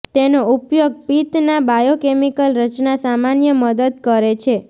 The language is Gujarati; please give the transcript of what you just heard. તેનો ઉપયોગ પિત્ત ના બાયોકેમિકલ રચના સામાન્ય મદદ કરે છે